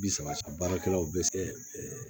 Bi saba baarakɛlaw bɛ se